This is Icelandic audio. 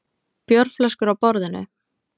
Bjórflöskur á borðinu.